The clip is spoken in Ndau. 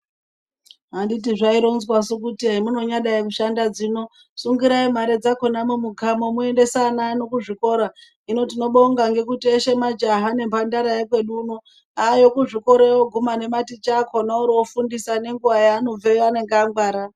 Handiti zvaironzwasu kuti zvamunanyadai mushanda dzino sungirai mare dzakona mumukamo moendesa ana ano kuzvikora. Hino tinobonga ngekuti eshe majaha nemhandara yekwedu uno ayo kuzvikoreyo oguma nematicha akona oro ofundisa ngenguva yaanobveyo anonga angwara.